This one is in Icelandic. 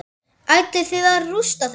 Ætlið þið að rústa þeim?